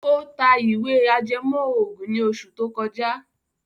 Ó ta ìwé ìtàn ajẹmọ́ ògùn ní oṣù tó kọjá.